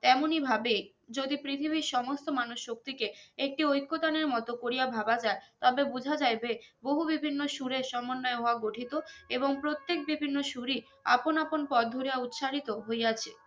তেমনি ভাবে যদি পৃথিবীর সমস্ত মানুষ শক্তিকে একটি ঐকতানের মতো করিয়া ভাবা যায় তবে বোঝা যায় যে বহু বিভিন্ন সুরের সমন্বয়ে হওয়া গঠিত এবং প্রত্যেক বিভিন্ন সুরই আপন আপন পথ ধরিয়া উচ্চারিত হইয়া ছে